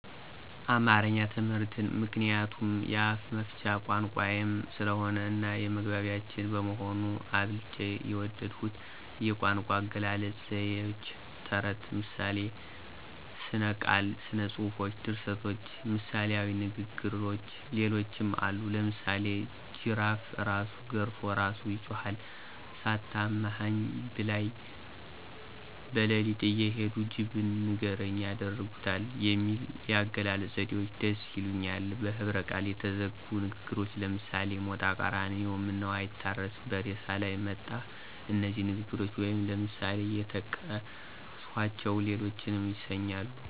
አማረኛ ትምህርትን ምክንያቱም የአፍመፍቻ ቋንቋየም ስለሆነ እናየመግባቢያችን በመሆኑ። አብልጨ የወደድሁት የቋንቋአገላለጽ፣ ዘይዎች፣ ተረትና ምሳሌ፣ ሥነቃል፣ ሥነጽፎች፣ ድርሰቶች፣ ምሣሌዊንግግሮች ሌሎችም አሉ። ለምሳሌ ጅራፍእራሱ ገርፎ እራሱ ይጮሀል፣ ሳታማኸኝ ብላይ። በለሊትእየሄዱ ጅብን ንገርኝ ያደርጉታል የሚሉ የአገላለጽ ዘዴዎች ደስ ይሊኛል። በህብረቃል የተዘጉ ንግግሮች ለምሳሌ ሞጣቀራኒዮ ምነዉአይታረስ በሬሳላይ መጣሁ እነዚህ ንግግሮች ወይም ለምሳሌ የጠቀስኀቸዉና ሌሎችንም ደስይሉኛል።